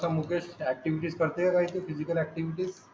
मुकेश आटिंगचेच करते physical acting चे